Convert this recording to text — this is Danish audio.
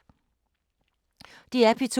DR P2